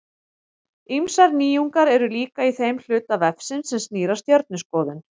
Ýmsar nýjungar eru líka í þeim hluta vefsins sem snýr að stjörnuskoðun.